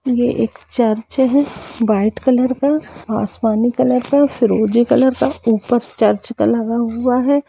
ये एक चर्च है वाइट कलर का आसमानी कलर का फ्रोज़ी कलर का ऊपर चर्च पे लगा हुआ है।